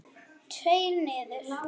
Tveir niður?